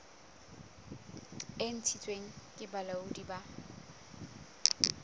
e ntshitsweng ke bolaodi bo